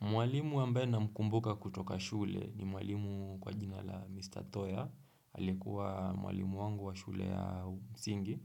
Mwalimu ambaye namkumbuka kutoka shule ni mwalimu kwa jina la Mr. Toya, alikuwa mwalimu wangu wa shule ya msingi,